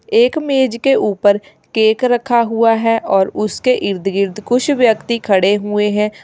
एक मेज के ऊपर केक रखा हुआ है और उसके इर्द गिर्द कुछ व्यक्ति खड़े हुए हैं।